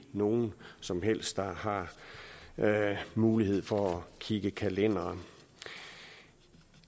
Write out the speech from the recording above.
nogen som helst der har mulighed for at kigge i kalenderen